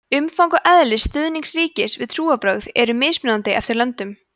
umfang og eðli stuðnings ríkis við trúarbrögð eru mismunandi eftir löndum